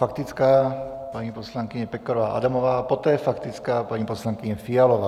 Faktická, paní poslankyně Pekarová Adamová, poté faktická paní poslankyně Fialová.